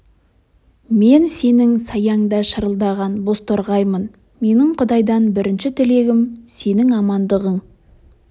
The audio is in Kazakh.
мен сенің саяңда шырылдаған бозторғаймын менің құдайдан бірінші тілегім сенің амандығың